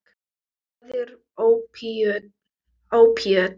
Hvað eru ópíöt?